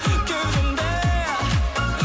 кеудемде